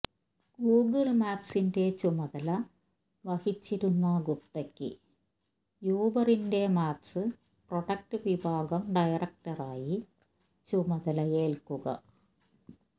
Google മാപ്സിന്റെ ചുമതല വഹിച്ചിരുന്ന ഗുപ്തയ്ക്ക് യൂബറിന്റെ മാപ്സ് പ്രോഡക്ട് വിഭാഗം ഡയറക്ടറായി ചുമതലയേല്ക്കുക